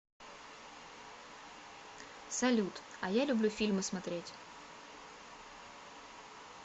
салют а я люблю фильмы смотреть